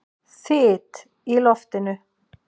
Þyt í loftinu!